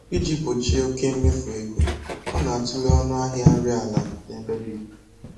Iji gbochie oke mmefu ego, ọ na-atụle ọnụ ahịa nri ala n'ebe dị iche iche